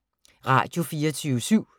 Radio24syv